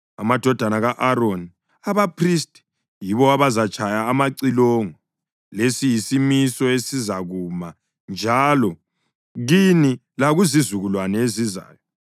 Amadodana ka-Aroni, abaphristi, yibo abazatshaya amacilongo. Lesi siyisimiso esizakuma njalo kini lakuzizukulwane ezizayo.